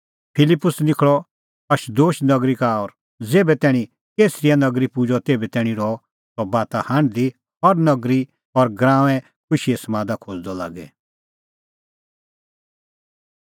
फिलिप्पुस निखल़अ अशदोद नगरी का और ज़ेभै तैणीं कैसरिया निं पुजअ तेभै तैणीं रहअ सह बाता हांढदी हर नगरी और गराऊंऐं खुशीए समादा खोज़दअ लागी